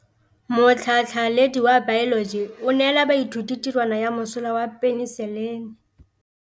Motlhatlhaledi wa baeloji o neela baithuti tirwana ya mosola wa peniselene.